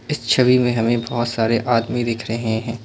इस छवि में हमें बहोत सारे आदमी दिख रहे हैं।